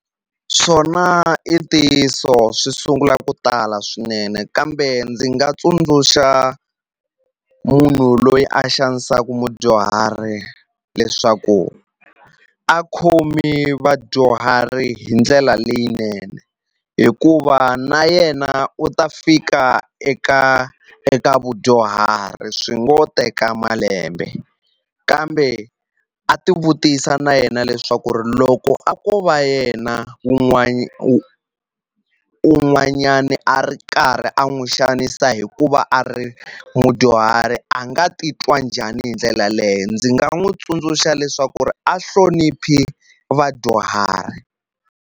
Swona i ntiyiso swi sungula ku tala swinene kambe ndzi nga tsundzuxa munhu loyi a xanisaku mudyuhari leswaku a khomi vadyuhari hi ndlela leyinene hikuva na yena u ta fika eka eka vudyuhari swi ngo teka malembe kambe a ti vutisa na yena leswaku ri loko a ko va yena un'wanyani a ri karhi a n'wi xanisa hi ku va a ri mudyuhari a nga ti twa njhani hi ndlela leyo ndzi nga n'wi tsundzuxa leswaku ri a hloniphi vadyuhari.